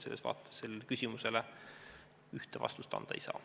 Selles vaates sellele küsimusele ühte vastust anda ei saa.